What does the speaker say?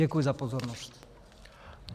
Děkuji za pozornost.